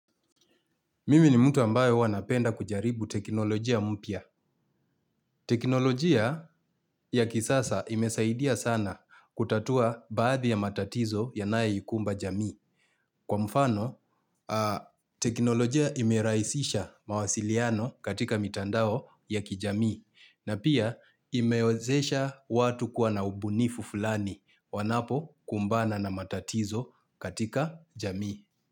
Mimi ni mtu ambayo huwa napenda kujaribu teknolojia mpya teknolojia ya kisasa imesaidia sana kutatua baadhi ya matatizo yanae ikumba jamii. Kwa mfano, teknolojia imerahisisha mawasiliano katika mitandao ya kijamii. Na pia imewezesha watu kuwa na ubunifu fulani wanapo kumbana na matatizo katika jamii.